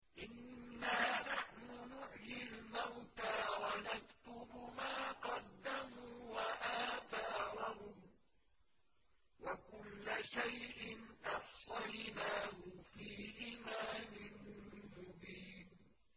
إِنَّا نَحْنُ نُحْيِي الْمَوْتَىٰ وَنَكْتُبُ مَا قَدَّمُوا وَآثَارَهُمْ ۚ وَكُلَّ شَيْءٍ أَحْصَيْنَاهُ فِي إِمَامٍ مُّبِينٍ